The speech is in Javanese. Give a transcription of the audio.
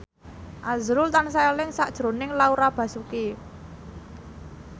azrul tansah eling sakjroning Laura Basuki